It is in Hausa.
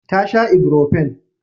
Ta sha ibrofen.